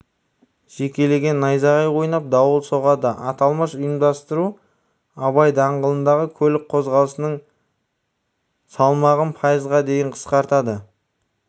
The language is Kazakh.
жекелеген аудандарда найзағай ойнап дауыл соғады аталмыш ұйымдастыру абай даңғылындағы көлік қозғалысының салмағын пайызға дейін қысқартады